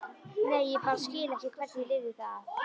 Nei, ég bara skil ekki hvernig ég lifði það af.